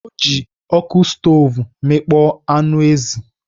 Ọ ji ọkụ stov mịkpọ anụ ezi.